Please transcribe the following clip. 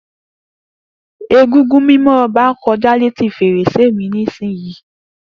Egúngún mimo Oba koja leti ferese mi nisiyi.